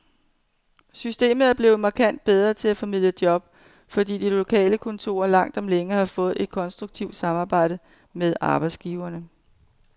Systemet er blevet markant bedre til at formidle job, fordi de lokale kontorer langt om længe har fået et konstruktivt samarbejde med arbejdsgiverne.